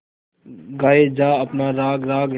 गाये जा अपना राग राग